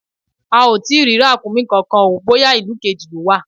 A ò tí ì rí ràkúnmí kankan o, bóyá ìlú kejì lọ́ wà.